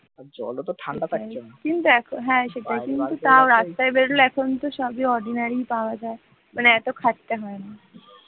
মানে এত খাটতে হয় না ওই ,